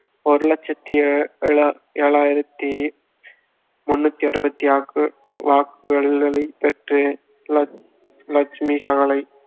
ஒரு லட்சத்தி எழா~ ஏழாயிரத்தி முந்நூத்தி அறுபத்தி ஆறு வாக்கு~ வாக்குகளைப் பெற்று ல~ லட்சுமி சாகலை